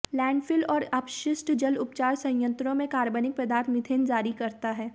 landfill और अपशिष्ट जल उपचार संयंत्रों में कार्बनिक पदार्थ मीथेन जारी करता है